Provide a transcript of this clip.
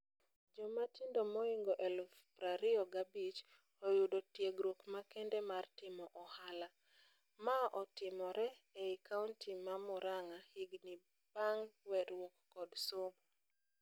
Jomatindo moingo eluf prario gabich, oyudo tiegruok makende mar timo ohala. Maotimore ei kaunti ma Murang'a, higni bang' weruok kod somo.